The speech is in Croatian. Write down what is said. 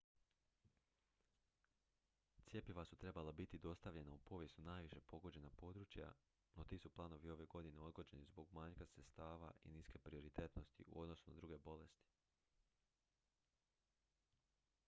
cjepiva su trebala biti dostavljena u povijesno najviše pogođena područja no ti su planovi ove godine odgođeni zbog manjka sredstava i niske prioritetnosti u odnosu na druge bolesti